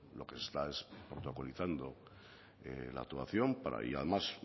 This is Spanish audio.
lo que está es protocolizando la actuación y además